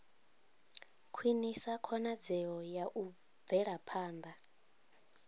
khwinisa khonadzeo ya u bvelaphanda